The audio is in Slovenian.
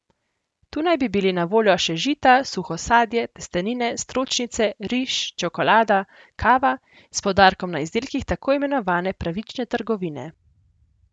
Tu naj bi bili na voljo še žita, suho sadje, testenine, stročnice, riž, čokolada, kava, s poudarkom na izdelkih tako imenovane pravične trgovine.